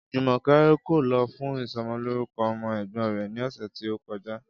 Jùmò̩ké̩ kò lo̩ fún iso̩mo̩lórúko̩ o̩mo̩ è̩gbó̩n rè̩ ní ò̩sè̩ tí ó ko̩já